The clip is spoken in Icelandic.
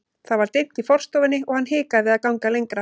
Það var dimmt í forstofunni og hann hikaði við að ganga lengra.